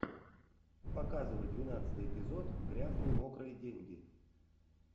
показывай двенадцатый эпизод грязные мокрые деньги